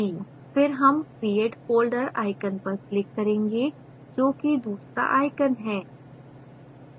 फिर हम create folder icon पर click करेंगे जो कि दूसरा icon है